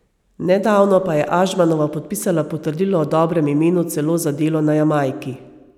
Nedavno pa je Ažmanova podpisala potrdilo o dobrem imenu celo za delo na Jamajki.